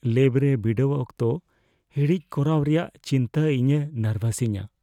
Lab ᱨᱮ ᱵᱤᱰᱟᱹᱣ ᱚᱠᱛᱚ ᱦᱤᱲᱤᱡ ᱠᱚᱨᱟᱣ ᱨᱮᱭᱟᱜ ᱪᱤᱱᱛᱟᱹ ᱤᱧᱮ ᱱᱟᱨᱵᱷᱟᱥᱤᱧᱟᱹ ᱾